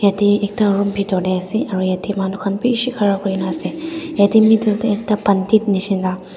yate ekta room bhitor teh ase aru yate manu khan bishi khara kuri na ase yate middle teh ekta pandit nisna--